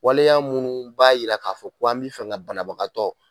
Wale y'a minnu b'a jira k'a fɔ ko an bɛ fɛ ka banabagatɔ